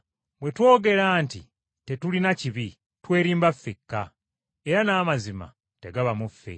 Bwe twogera nti tetulina kibi, twerimba ffekka, era n’amazima tegaba mu ffe.